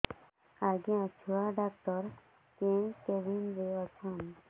ଆଜ୍ଞା ଛୁଆ ଡାକ୍ତର କେ କେବିନ୍ ରେ ଅଛନ୍